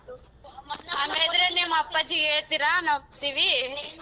ಹಂಗಾದ್ರೆ ನಿಮ್ ಅಪ್ಪಾಜಿ ಹೇಳ್ತೀರ ನಾವ್ ಬತ್ತೀವಿ.